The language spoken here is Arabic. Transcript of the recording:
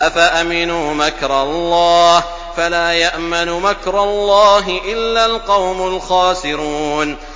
أَفَأَمِنُوا مَكْرَ اللَّهِ ۚ فَلَا يَأْمَنُ مَكْرَ اللَّهِ إِلَّا الْقَوْمُ الْخَاسِرُونَ